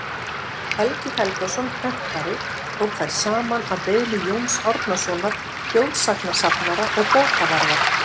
helgi helgason prentari tók þær saman að beiðni jóns árnasonar þjóðsagnasafnara og bókavarðar